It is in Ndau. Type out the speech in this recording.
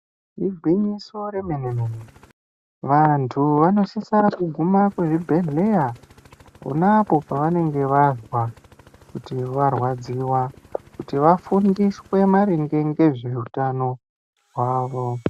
Igwinyiso remenemene vanthu vanosisa kuguma kuzvibhedhlera ponapo pavanenge vazwa kuti varwadziwa kuti vafundiswe maringe ngezveutano hwavo.